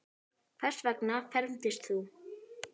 Hvers vegna fermist þú?